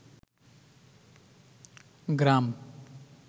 গ্রাম